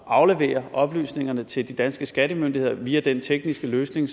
at aflevere oplysningerne til de danske skattemyndigheder via den tekniske løsning